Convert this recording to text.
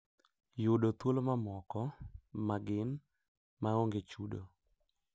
Yudo thuolo mamoko, ma gin "maonge chudo"